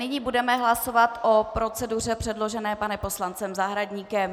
Nyní budeme hlasovat o proceduře předložené panem poslancem Zahradníkem.